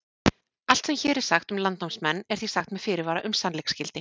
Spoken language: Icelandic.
Allt sem hér er sagt um landnámsmenn er því sagt með fyrirvara um sannleiksgildi.